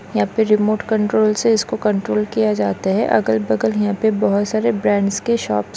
यहाँ पे remote control से इसको कंट्रोल किया जाता है अगल-बगल यहाँ पे बहुत सारे ब्रांड्स के शॉप --